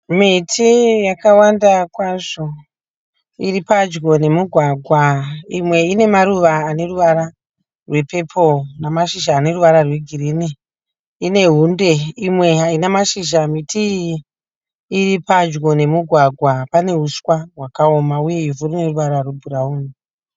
Miti yakawanda kwazvo iri padyo nemugwagwa. Imwe ine maruva ane ruvara rwepepuro nemashizha ane ruvara egirinhi inehunde. Imwe haina mashizha ,miti iyi iripadyo nemugwagwa Panehuswa hwakaoma uye huswa huneruvara rwebhurauni.